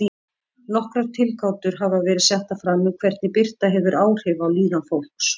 Nokkrar tilgátur hafa verið settar fram um hvernig birta hefur áhrif á líðan fólks.